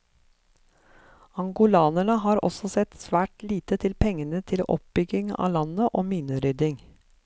Angolanerne har også sett svært lite til pengene til oppbygging av landet og minerydding.